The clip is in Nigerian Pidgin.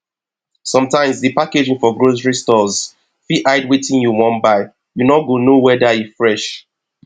sometimes di packaging for grocery stores fit hide wetin you wan buy you no go know weda e fresh